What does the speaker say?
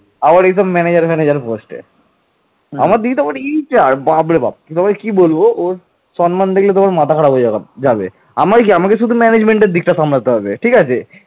মালবের রাজা দেবগুপ্ত মৌখরী রাজা গ্রহবর্মণকে পরাজিত করে কনৌজ দখল করেন